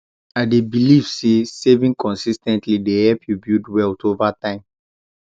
i dey believe say saving consis ten tly dey help you build wealth over time